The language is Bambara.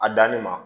A danni ma